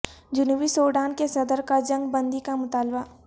جنوبی سوڈان کے صدر کا جنگ بندی کا مطالبہ